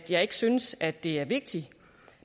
jeg ikke synes at det er vigtigt